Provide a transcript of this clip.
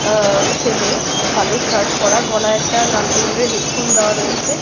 এ-ছেলে কালো শার্ট পরা। গলায় একটা লাল কালরের হেড ফোন দেওয়া রয়েছে।